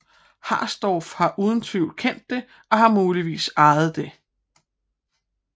Harsdorff har uden tvivl kendt det og har muligvis ejet det